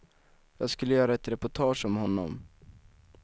Jag skulle göra ett reportage om honom.